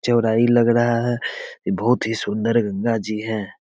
चौड़ाई लग रहा है इ बहुत ही सुंदर गंगा जी है।